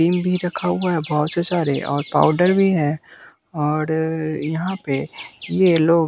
cream भी रखा हुआ है बहुत सारे और पाउडर भी है और यहां पे ये लोग--